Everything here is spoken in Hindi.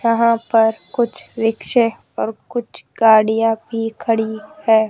यहां पर कुछ रिक्शे और कुछ गाड़ियां भी खड़ी है।